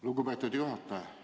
Lugupeetud juhataja!